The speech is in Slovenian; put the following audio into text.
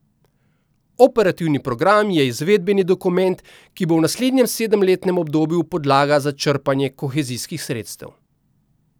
Operativni program je izvedbeni dokument, ki bo v naslednjem sedemletnem obdobju podlaga za črpanje kohezijskih sredstev.